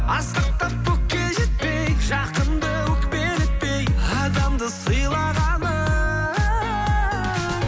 асқақтап көкке жетпей жақынды өкпелетпей адамды сыйлағаның